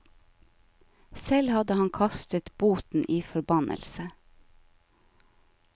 Selv hadde han kastet boten i forbannelse.